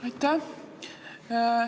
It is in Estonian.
Aitäh!